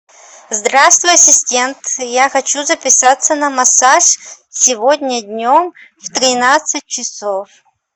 здравствуй ассистент я хочу записаться на массаж сегодня днем в тринадцать часов